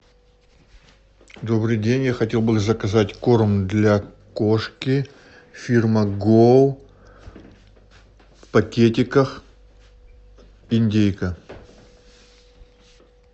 добрый день я хотел бы заказать корм для кошки фирма гоу в пакетиках индейка